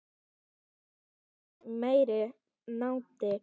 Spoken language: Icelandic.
Aldrei fundið meiri nánd.